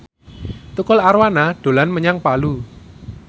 Tukul Arwana dolan menyang Palu